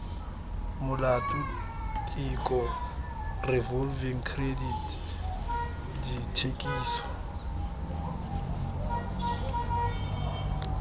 molato tiko revolving credit dithekiso